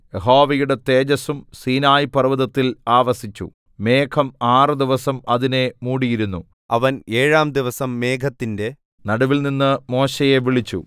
യഹോവയുടെ തേജസ്സും സീനായി പർവ്വതത്തിൽ ആവസിച്ചു മേഘം ആറുദിവസം അതിനെ മൂടിയിരുന്നു അവൻ ഏഴാം ദിവസം മേഘത്തിന്റെ നടുവിൽനിന്ന് മോശെയെ വിളിച്ചു